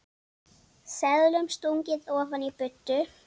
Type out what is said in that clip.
Seðlum stungið ofan í buddu.